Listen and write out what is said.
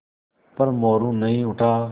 पर मोरू नहीं उठा